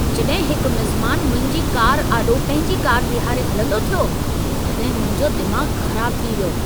जॾहिं हिक मिज़मान मुंहिंजी कार आॾो पंहिंजी कार बीहारे हलंदो थियो, तॾहिं मुंहिंजो दिमाग़ु ख़राबु थी वियो।